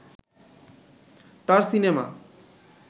তার সিনেমা